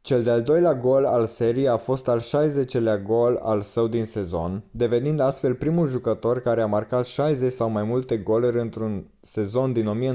cel de-al doilea gol al serii a fost al 60-lea gol al său din sezon devenind astfel primul jucător care a marcat 60 sau mai multe goluri într-un sezon din